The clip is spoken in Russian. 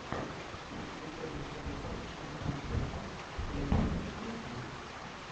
ищи первый эпизод александроса тсопозидиса